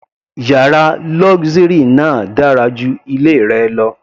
Yàrá luxury náà dára ju ilé rẹ lọ.